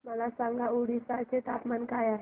मला सांगा ओडिशा चे तापमान काय आहे